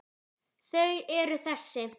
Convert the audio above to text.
Þau eru þessi